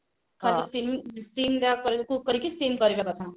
କରିକି steam କରିଦେବା ପାଇଁ